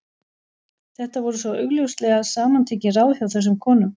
Þetta voru svo augljóslega samantekin ráð hjá þessum konum.